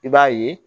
I b'a ye